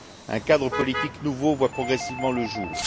Un cadre politique nouveau voit progressivement le jour.